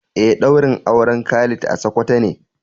Eh daurin auren Khalid a sokoto ne.